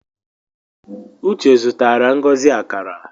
Uche zutara Ngozi akara